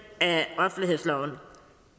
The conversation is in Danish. af offentlighedsloven